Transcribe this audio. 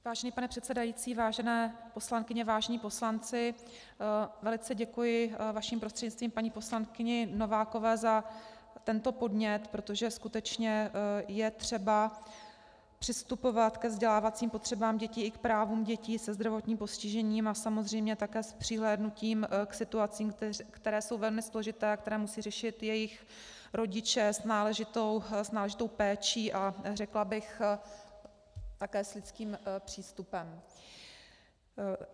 Vážený pane předsedající, vážené poslankyně, vážení poslanci, velice děkuji vaším prostřednictvím paní poslankyni Novákové za tento podnět, protože skutečně je třeba přistupovat ke vzdělávacím potřebám dětí i k právům dětí se zdravotním postižením a samozřejmě také s přihlédnutím k situacím, které jsou velmi složité a které musí řešit jejich rodiče, s náležitou péčí a řekla bych také s lidským přístupem.